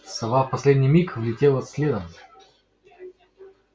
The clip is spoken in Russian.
сова в последний миг влетела следом